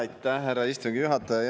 Aitäh, härra istungi juhataja!